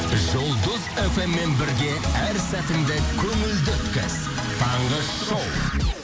жұлдыз фм мен бірге әр сәтіңді көңілді өткіз таңғы шоу